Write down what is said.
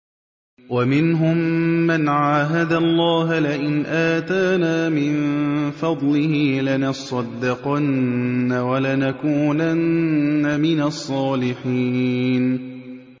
۞ وَمِنْهُم مَّنْ عَاهَدَ اللَّهَ لَئِنْ آتَانَا مِن فَضْلِهِ لَنَصَّدَّقَنَّ وَلَنَكُونَنَّ مِنَ الصَّالِحِينَ